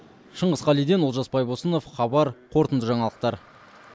шыңғыс қалиден олжас байбосынов хабар қорытынды жаңалықтар